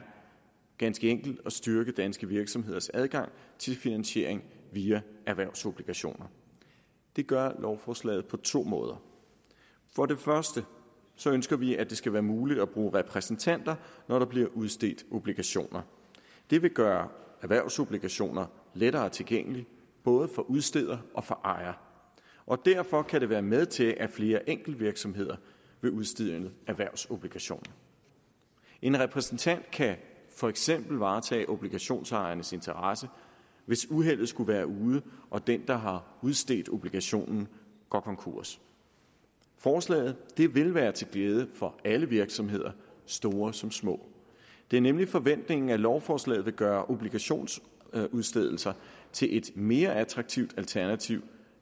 ganske enkelt at styrke danske virksomheders adgang til finansiering via erhvervsobligationer det gør lovforslaget på to måder for det første ønsker vi at det skal være muligt at bruge repræsentanter når der bliver udstedt obligationer det vil gøre erhvervsobligationer lettere tilgængelige både for udsteder og for ejer og derfor kan det være med til at flere enkeltvirksomheder vil udstede erhvervsobligationer en repræsentant kan for eksempel varetage obligationsejerens interesse hvis uheldet skulle være ude og den der har udstedt obligationen går konkurs forslaget vil være til glæde for alle virksomheder store som små det er nemlig forventningen at lovforslaget vil gøre obligationsudstedelser til et mere attraktivt alternativ